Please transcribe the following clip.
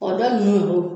O dɔ ninnu